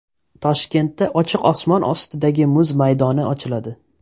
Toshkentda ochiq osmon ostidagi muz maydoni ochiladi.